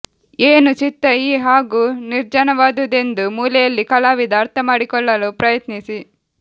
ಏನು ಚಿತ್ತ ಈ ಹಾಗು ನಿರ್ಜನವಾದುದೆಂದು ಮೂಲೆಯಲ್ಲಿ ಕಲಾವಿದ ಅರ್ಥಮಾಡಿಕೊಳ್ಳಲು ಪ್ರಯತ್ನಿಸಿ